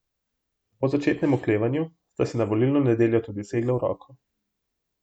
Po začetnem oklevanju sta si na volilno nedeljo tudi segla v roko.